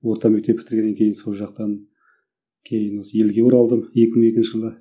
орта мектеп бітіргеннен кейін сол жақтан кейін осы елге оралдым екі мың екінші жылы